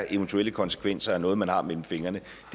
eventuelle konsekvenser er af noget man har mellem fingrene